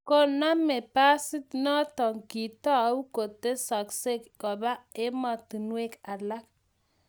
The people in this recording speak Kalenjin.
kuname besiet noto kiitou kotesaka koba emotinwek alak